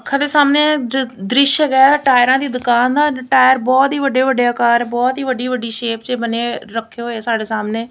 ਅੱਖਾਂ ਦੇ ਸਾਹਮਣੇ ਦ੍ਰਿਸ਼ ਹੈਗਾ ਹੈ ਟਾਇਰਾਂ ਦੀ ਦੁਕਾਨ ਦਾ ਟਾਇਰ ਬਹੁਤ ਹੀ ਵੱਡੇ ਵੱਡੇ ਅਕਾਰ ਬਹੁਤ ਹੀ ਵੱਡੀ ਵੱਡੀਸ਼ੇਪ ਚ ਬਣੇ ਰੱਖੇ ਹੋਏ ਸਾਡੇ ਸਾਹਮਣੇ--